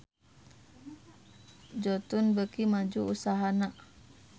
Jotun beuki maju usahana